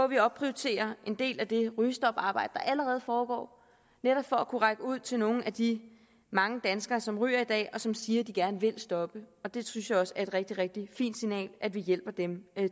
vi opprioriterer en del af det rygestoparbejde der allerede foregår netop for at kunne række ud til nogle af de mange danskere som ryger i dag og som siger de gerne vil stoppe det synes jeg også er et rigtig rigtig fint signal altså at vi hjælper dem